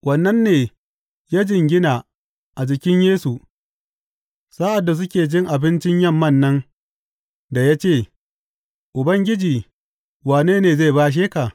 Wannan ne ya jingina a jikin Yesu sa’ad da suke cin abincin yamman nan da ya ce, Ubangiji wane ne zai bashe ka?